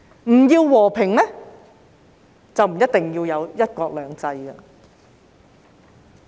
不要和平，就不一定要有"一國兩制"。